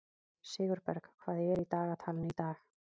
Sigurberg, hvað er í dagatalinu í dag?